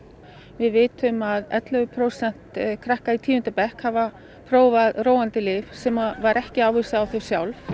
við vitum að ellefu prósent krakka í tíunda bekk hafa prófað róandi lyf sem var ekki ávísað á þau sjálf